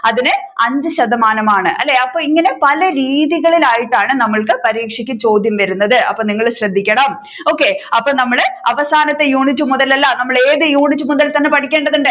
അതിനെ അഞ്ചു ശതമാനമാണ് അല്ലെ അപ്പൊ ഇങ്ങനെ പല രീതികളിലായിട്ടാണ് നമ്മൾക്ക് പരീക്ഷക്ക് ചോദ്യം വരുന്നത് അപ്പൊ നിങ്ങൾ ശ്രദ്ധിക്കണം okay അപ്പൊ നമ്മൾ അവസാനത്തെ യൂണിറ്റ് മുതൽ അല്ല നമ്മൾ ഏത് യൂണിറ്റ് മുതൽ തന്നെ പഠിക്കേണ്ടതുണ്ട്